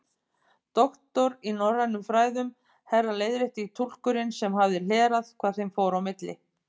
Doktor í norrænum fræðum, herra leiðrétti túlkurinn sem hafði hlerað hvað þeim fór á milli.